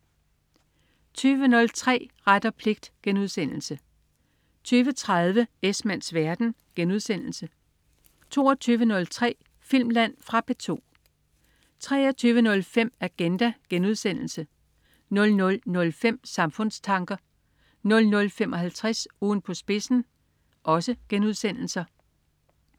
20.03 Ret og pligt* 20.30 Esmanns verden* 22.03 Filmland. Fra P2 23.05 Agenda* 00.05 Samfundstanker* 00.55 Ugen på spidsen*